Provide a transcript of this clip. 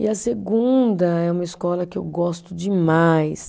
E a segunda é uma escola que eu gosto demais.